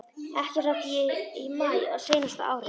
Ekki frá því í maí á seinasta ári.